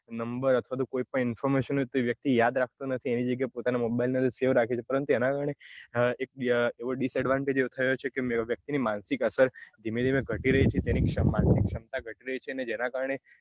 number અથવા તો કોઈ પણ information તે વ્યક્તિ યાદ રાખતો નથી તેની જગ્યાએ પોતાના mobile ની અંદર save રાખે છે પરંતુ એના કારણે એક disadvantage થયો છે કે વ્યક્તિ ની માનસિક અસરધીમે ધીમે ઘટી રહી છે તેની માનસિક ક્ષમતા ઘટી રહી છે જેના કારણે